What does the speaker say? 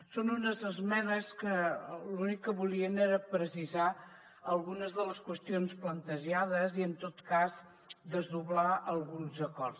són unes esmenes que l’únic que volien era precisar algunes de les qüestions plantejades i en tot cas desdoblar alguns acords